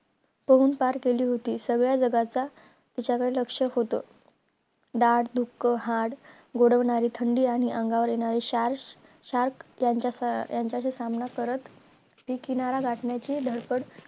पोहून पार केली होती. सगळे जगाचा तिच्या कडे लक्ष होत. दाड दुख, हात गोडवणारी थंडी, आणि अंगावर येणारे SHARK SHARK यांच्या अं यांच्याशी सामना करत ती किनारा गाठण्याची धडपड